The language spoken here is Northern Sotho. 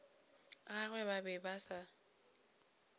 gagwe ba be ba se